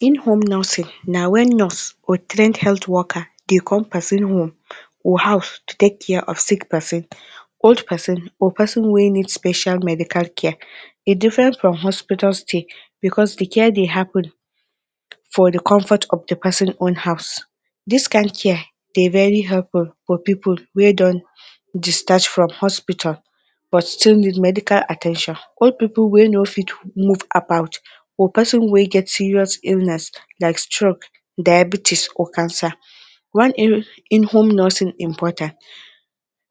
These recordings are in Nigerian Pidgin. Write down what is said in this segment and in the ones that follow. In-home nursing na when nurse or trained woker dey come pesin home or house to take care of sick pesin, old pesin or pesin wey need special medical care. E different from hospital stay because dey care dey happen for dey comfort of dey pesin own house. This kain care dey very helpful for dey pipul wey don discharge from hospital but still need medical at ten tion. Old pipul wey no fit move about or pesin wey get serious illness like stroke, diabetics or cancer. Why in-home nursing important;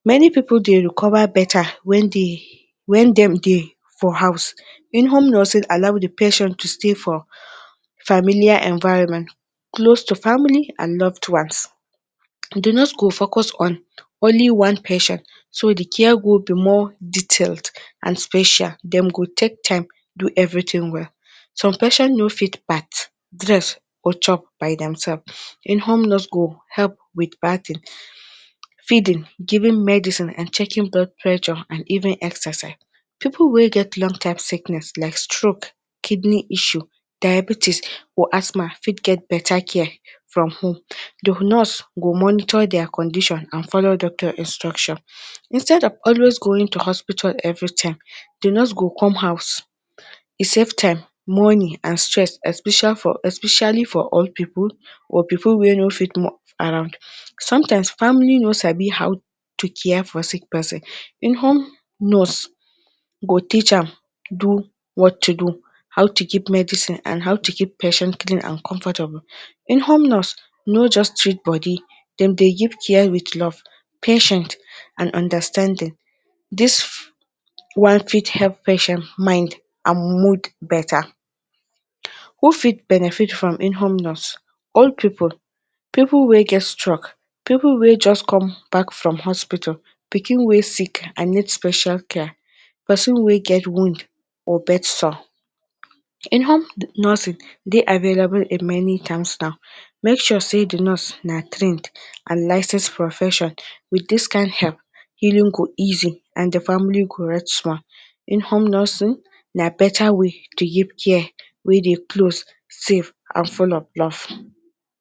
many pipul dey recover better wen dey when dem dey for house. In-home nursing allow the patient to stay for familiar environment close to family and loved ones. The nurse go focus on only one patient so di care go be more detailed and special, dem go take time do everything well. Some patients no fit bath, dress or chop by demself, in-home nurse go help with bathing, feeding, giving medicine and checking blood pressure and even exercise. Pipul wey get long time sickness like stroke, kidney issue, diabetes or asthma fit get better care from home, di nurse go monitor dia condition and follow doctor instruction. Instead of always going to hospital every time, di nurse go come house, e save time, money and stress especially for all pipul or pipul wey no fit move around. Sometimes family no sabi how to care for sick pesin, in-home nurse go teach am do what to do, how to keep medicine and how to keep patient clean and comfortable. In-home nurse no just treat body dem dey give care with love, patience and understanding. Dis one fit help patient mind and mood better. Who fit benefit from in-home nurse- all pipul- pipul wey get stroke, pipul wey just come back from hospital, pikin wey sick and need special care, pesin wey get wound or bedsore. In-home nursing dey available in many make sure sey dey nurse na trained and licensed profession with dis kain help, healing go easy and dey family go rest small. In-home nursing na better way to give care wey dey close, safe and full of love.